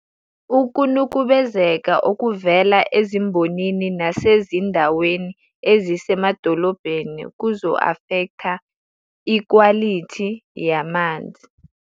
Ukunukubezeka okuvela ezimbonini nasezindaweni ezisemadolobheni kuzo-afektha ukwalithi yamanzi.